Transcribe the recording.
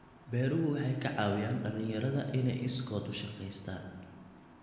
Beeruhu waxay ka caawiyaan dhalinyarada inay iskood u shaqeystaan.